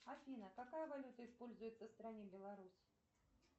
афина какая валюта используется в стране беларусь